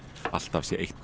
alltaf sé eitthvert